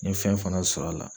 N ye fɛn fana sɔr'a la.